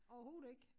Overhoved ikke